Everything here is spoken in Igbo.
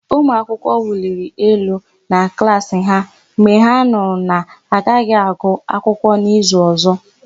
Ụmụakwụkwọ wuliri elu na klaasị ha mgbe ha nụrụ na-agaghị agụ akwụkwọ n'izu ọ̀zọ́.